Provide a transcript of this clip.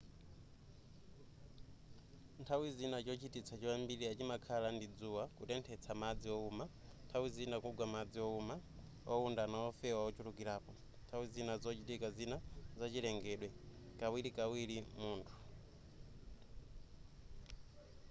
nthawi zina chochititsa choyambirira chimakhala ndi dzuwa kutenthetsa madzi owuma nthawi zina kugwa madzi owuma owundana wofewa ochulukirapo nthawi zina zochitika zina za chilengedwe kawirikawiri munthu